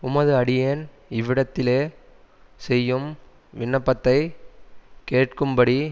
உமது அடியேன் இவ்விடத்திலே செய்யும் விண்ணப்பத்தைக் கேட்கும்படி